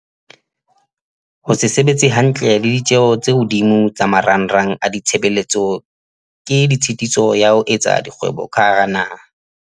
Ho se sebetse hantle le ditjeho tse hodimo tsa marangrang a ditshebeletso ke tshitiso ya ho etsa kgwebo ka hara naha.